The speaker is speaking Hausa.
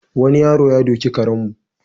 Wani yaro ya doki karenmu.